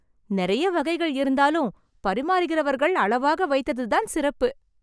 நெறைய வகைகள் இருந்தாலும், பரிமாறுகிறவர்கள் அளவாக வைத்ததுதான் சிறப்பு.